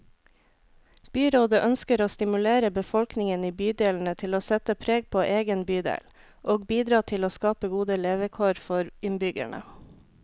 Byrådet ønsker å stimulere befolkningen i bydelene til å sette preg på egen bydel, og bidra til å skape gode levekår for innbyggerne.